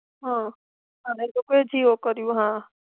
હ, અમે તો કોઈ જીઓ કરિયું. હ.